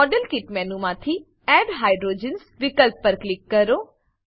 model kit મેનુમાંથી add hydrogens વિકલ્પ પર ક્લિક કરો